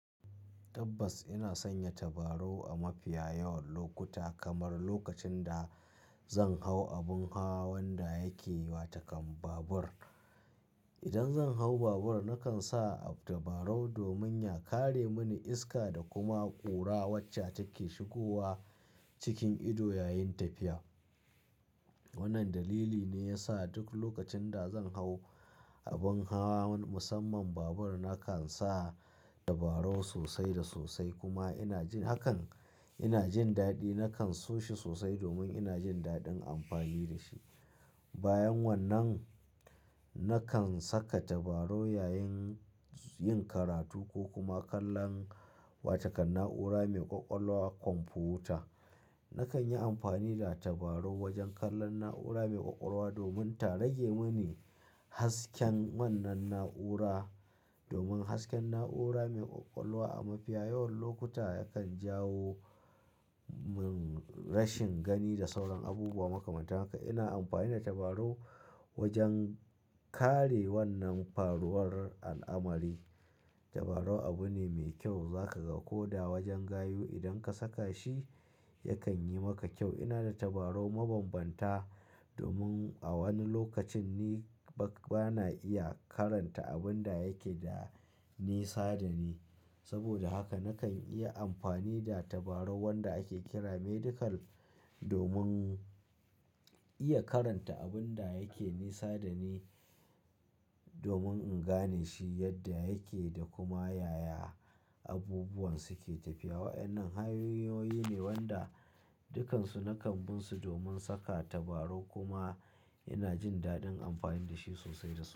Tabbas ina sanya tabarau a mafiya yawan lokuta, kamar lokacin da zan hau abin ha wanda yake wa takan babur. Idan zan hau babur, nakan sa tabarau domin ya kare mini iska da kuma ƙura wacce take shigowa cikin ido yayin tafiya. Wannan dalili ne ya sa duk lokacin da zan hau abin ha, musamman babur, nakan sa tabarau sosai da sosai kuma ina jin hakan-- ina jin daɗi. Nakan so shi sosai domin ina jin daɗin amfani da shi. Bayan wannan, nakan saka tabarau yayin yin karatu ko kuma kallon wata kan na'ura mai ƙwaƙwalwa komfuta. Nakan yi amfani da tabarau wajen kallon na'ura mai ƙwaƙwalwa domin ta rage mini hasken wannan na'ura. Domin hasken na'ura mai ƙwaƙwalwa a mafiya yawan lokuta yakan jawo min rashin gani da sauran abubuwa makamatan haka. Ina amfani da tabarau wajen kare wannan faruwar al'amari. Tabarau abu ne mai kyau za ka ga ko da wajen gayu. Idan ka saka shi, yakan yi maka kyau. Ina da tabarau mabambanta domin a wani lokacin ni ba, bana iya karanta abun da yake da nisa da ni. Saboda haka nakan iya amfani da tabarau wanda ake kira medical domin iya karanta abun da yake nisa da ni, domin in gane shi yadda yake da kuma yaya abubuwan suke tafiya. Wa'annan hanyoyi ne wanda dukansu nakan bin su domin saka tabarau kuma ina jin daɗin amfani da shi sosai da sosai.